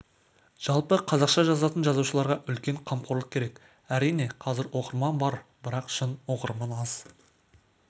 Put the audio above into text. жалпы қазақша жазатын жазушыларға үлкен қамқорлық керек әрине қазір оқырман бар бірақ шын оқырман аз